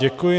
Děkuji.